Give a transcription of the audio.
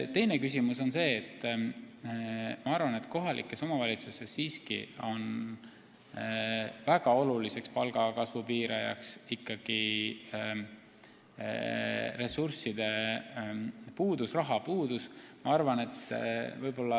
Teiseks, ma arvan, et kohalikes omavalitsustes on väga oluliseks palga kasvu piirajaks ikkagi rahapuudus.